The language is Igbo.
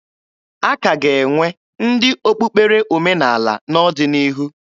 A ka ga-enwe ndị okpukpere omenaala n'ọdịnihu